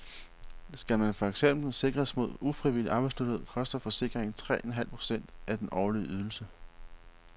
Skal man for eksempel sikres mod ufrivillig arbejdsløshed, koster forsikringen tre en halv procent af den årlige ydelse.